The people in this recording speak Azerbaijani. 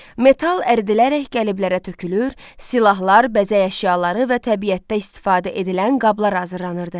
Metal əridilərək qəliblərə tökülür, silahlar, bəzək əşyaları və təbiətdə istifadə edilən qablar hazırlanırdı.